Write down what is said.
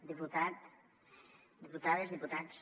diputat diputades diputats